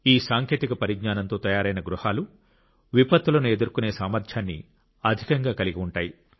ఈ సాంకేతిక పరిజ్ఞానంతో తయారైన గృహాలు విపత్తులను ఎదుర్కొనే సామర్థ్యాన్ని అధికంగా కలిగి ఉంటాయి